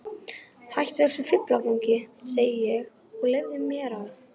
Hættu þessum fíflagangi, segi ég, og leyfðu mér að.